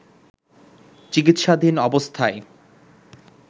চিকিৎসাধীন অবস্থায়